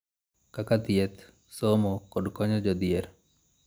Kaka thieth, somo, kod konyo jodhier,